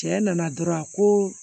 Cɛ nana dɔrɔn a ko